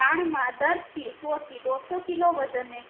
દાણ માં દર થી સો થી ડોસ કિલો વજને